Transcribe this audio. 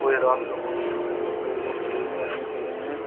कोई रात का फोटो जहां पे बहोत सारे लोग खड़े हुए आदमी खड़े हैं।